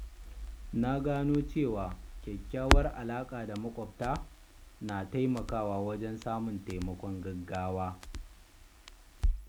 Na lura cewa kyakkyawar alaƙa da maƙwabta na taimakawa wajen samun taimakon gaggawa.